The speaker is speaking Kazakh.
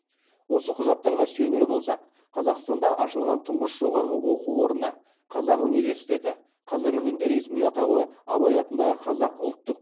осы құжаттарға сүйенер болсақ қазақстанда ашылған тұңғыш жоғары оқу орны қазақ университеті қазіргі күндегі ресми атауы абай атындағы қазақ ұлттық